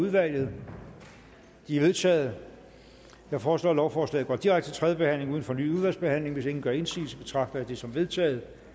udvalget de er vedtaget jeg foreslår at lovforslaget går direkte til tredje behandling uden fornyet udvalgsbehandling hvis ingen gør indsigelse betragter jeg det som vedtaget